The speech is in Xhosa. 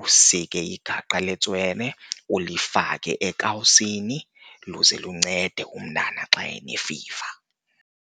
usike ingaqa le tswele ulifake ekawusini luze luncede umntana xa enefiva.